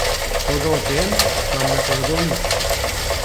Toda o tem nam ne povedo nič.